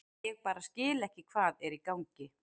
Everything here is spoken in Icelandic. Ég bara skil ekki hvað er í gangi.